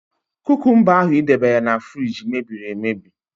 Kúkúmba ahụ i debere na fruidge mebiri emebi.